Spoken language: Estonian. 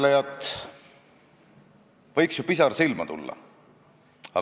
Tallinnas on päris mitu ettevõtet, kus inglise keelt oskamata teenindust ei saa.